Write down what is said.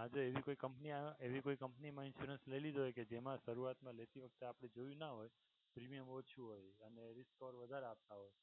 આજે એવી કોઈ company આવે કે એવી કોઈ company મા insurance લઈ લીધો કે જેમાં શરૂઆત મા લેતી વખતે આપણે જોયું ના હોય premium ઓછું હોય અને risk call વધારે આપતા હોય